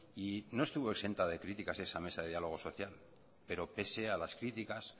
y no estuvo exenta de críticas esa mesa de diálogo social pero pese a las críticas